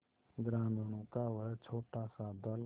ग्रामीणों का वह छोटासा दल